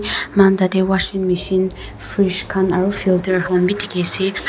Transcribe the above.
moikan tati washing machine fridge aro filter kanbe teki ase.